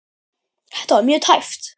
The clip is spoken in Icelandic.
Þetta var mjög tæpt.